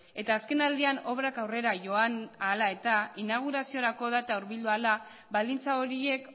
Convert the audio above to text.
eta azken aldian obrak aurrera joan ahala eta inauguraziorako data hurbildu ahala baldintza horiek